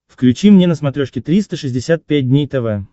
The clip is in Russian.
включи мне на смотрешке триста шестьдесят пять дней тв